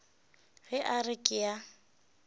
ge a re ke a